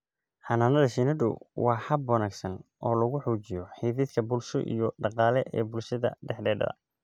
Xannaanada shinnidu waa hab wanaagsan oo lagu xoojiyo xidhiidhka bulsho iyo dhaqaale ee bulshada dhexdeeda.